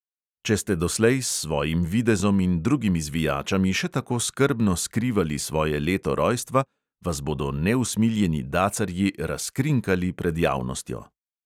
Če ste doslej s svojim videzom in drugimi zvijačami še tako skrbno skrivali svoje leto rojstva, vas bodo neusmiljeni dacarji "razkrinkali" pred javnostjo!